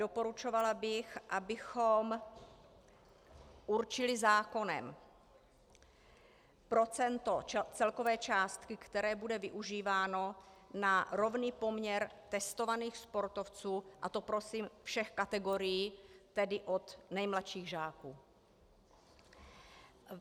Doporučovala bych, abychom určili zákonem procento celkové částky, které bude využíváno na rovný poměr testovaných sportovců, a to prosím všech kategorií, tedy od nejmladších žáků.